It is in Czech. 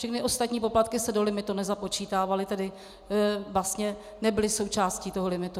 Všechny ostatní poplatky se do limitu nezapočítávaly, tedy vlastně nebyly součástí toho limitu.